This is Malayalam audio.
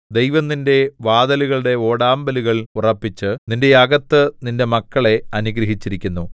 ദൈവം നിന്റെ വാതിലുകളുടെ ഓടാമ്പലുകൾ ഉറപ്പിച്ച് നിന്റെ അകത്ത് നിന്റെ മക്കളെ അനുഗ്രഹിച്ചിരിക്കുന്നു